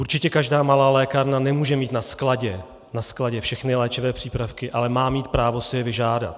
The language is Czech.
Určitě každá malá lékárna nemůže mít na skladě všechny léčivé přípravky, ale má mít právo si je vyžádat.